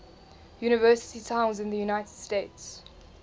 university towns in the united states